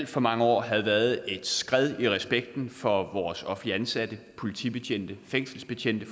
for mange år havde været et skred i respekten for vores offentligt ansatte for politibetjente og fængselsbetjente